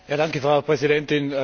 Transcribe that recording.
Frau Präsidentin!